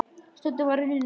Stundin var runnin upp.